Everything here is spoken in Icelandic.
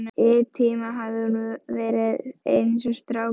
Í einn tíma hafði hún verið eins og strákur.